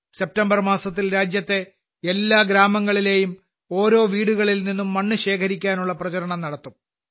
September മാസത്തിൽ രാജ്യത്തെ എല്ലാ ഗ്രാമങ്ങളിലെയും ഓരോ വീടുകളിൽനിന്നും മണ്ണ് ശേഖരിക്കാനുള്ള പ്രചാരണം നടത്തും